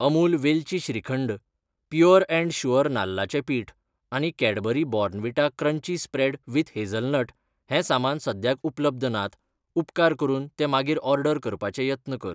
अमूल वेलची shrikhand, pure and sure नाल्लाचें पिठ आनी Cadbury Bournvita crunchy spread with hazelnut हें सामान सद्याक उपलब्ध नात, उपकार करून ते मागीर ऑर्डर करपाचे यत्न कर.